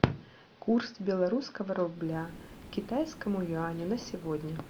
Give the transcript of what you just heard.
курс белорусского рубля к китайскому юаню на сегодня